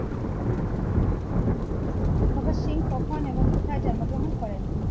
ভগৎ সিং কখন এবং কোথায় জন্মগ্রহণ করেন?